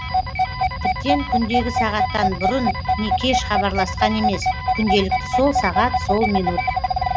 тіптен күндегі сағаттан бұрын не кеш хабарласқан емес күнделікті сол сағат сол минут